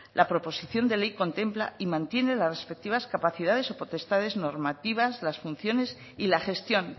la proposición de ley contempla y mantiene las respectivas capacidades o potestades normativas las funciones y la gestión